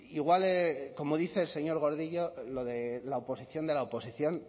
igual como dice el señor gordillo lo de la oposición de la oposición